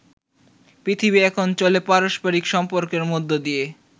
পৃথিবী এখন চলে পারস্পারিক সম্পর্কের মধ্য দিয়ে।